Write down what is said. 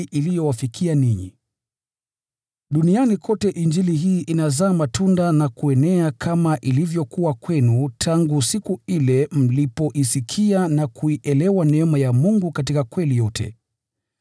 iliyowafikia ninyi. Duniani kote Injili hii inazaa matunda na kuenea kama ilivyokuwa kwenu tangu siku ile mlipoisikia na kuielewa neema ya Mungu katika kweli yote.